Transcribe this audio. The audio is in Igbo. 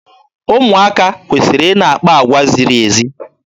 Ụmụaka kwesịrị ị na-akpa agwa ziri ezi.